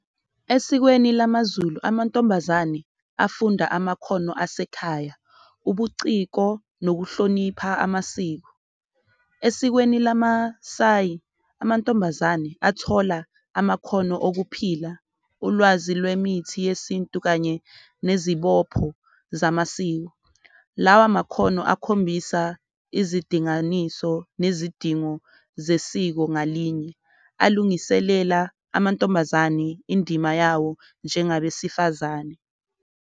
Esikweni lamaZulu amantombazane afunda amakhono asekhaya, ubuciko nokuhlonipha amasiko, esikweni lamaSayi amantombazane athola amakhono okuphila, ulwazi lwemithi yesintu kanye nezibopho zamasiko. Lawa amakhono akhombisa izidinganiso nezidingo zesiko ngalinye, alungiselela amantombazane indima yawo njengabesifazane